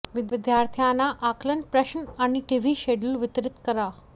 विद्यार्थ्यांना आकलन प्रश्न आणि टीव्ही शेड्यूल वितरित करा